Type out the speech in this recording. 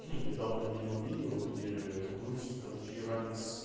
хи недавно видел видео где в грузии короче иранец